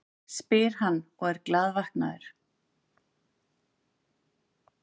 spyr hann og er glaðvaknaður.